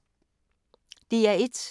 DR1